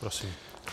Prosím.